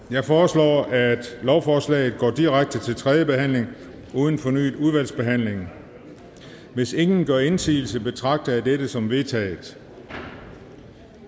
jeg foreslår at lovforslaget går direkte til tredje behandling uden fornyet udvalgsbehandling hvis ingen gør indsigelse betragter jeg dette som vedtaget